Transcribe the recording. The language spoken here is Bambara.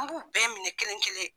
A b'u bɛɛ minɛ kelen kelen.